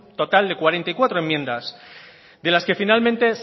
total de cuarenta y cuatro enmiendas de las que finalmente